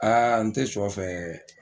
n tɛ suyɔ fɛ.